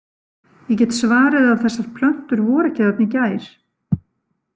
Ég get svarið að þessar plöntur voru ekki þarna í gær.